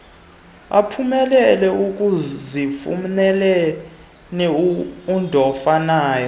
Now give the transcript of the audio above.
aphumelele ekuzifuneleni undofanaye